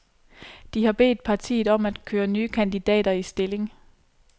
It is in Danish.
De har bedt partiet om at køre nye kandidater i stilling.